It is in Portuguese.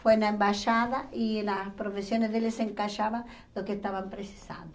foi na embaixada e nas profissões dele se encaixava no que estavam precisando.